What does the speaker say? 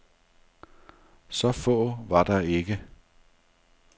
Så få var der ikke.